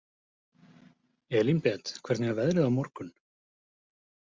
Elínbet, hvernig er veðrið á morgun?